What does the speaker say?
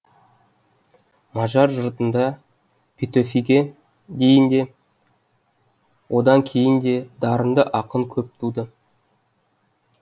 мажар жұртында петөфиге дейін де одан кейін де дарынды ақын көп туды